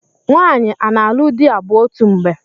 Nwaanyị a na-alụ di abụọ otu mgbe?